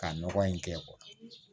Ka nɔgɔ in kɛ